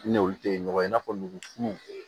I n'olu tɛ ɲɔgɔn ye i n'a fɔ nugu fununnu